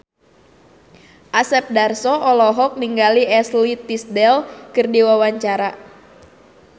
Asep Darso olohok ningali Ashley Tisdale keur diwawancara